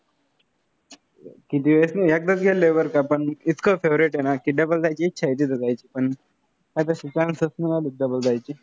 किती वेळेस नाही. एकदाच गेल्लोय बरं का. पण इतकं favorite आहे ना की, double जायची इच्छा आहे, तिथे जायची. पण आताशी chance च नाय आले double जायची.